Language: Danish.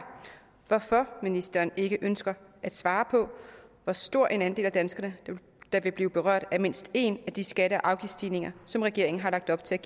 hvorfor ministeren ikke ønsker at svare på hvor stor en andel af danskerne der vil blive berørt af mindst én af de skatte og afgiftsstigninger som regeringen har lagt op til